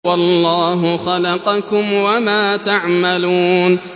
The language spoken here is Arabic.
وَاللَّهُ خَلَقَكُمْ وَمَا تَعْمَلُونَ